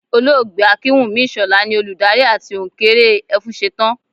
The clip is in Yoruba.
Olóògbé Akínwùmí Ìṣọ̀lá ni olùdarí àti òǹkeré Ẹfúnṣetán